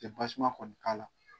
Te basima kɔni k'ala